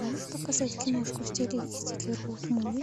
можешь показать киношку в стилистике роуд муви